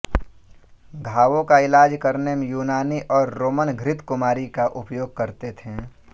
घावों का इलाज करने में यूनानी और रोमन घृत कुमारी का उपयोग करते थे